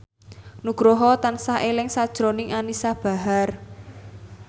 Nugroho tansah eling sakjroning Anisa Bahar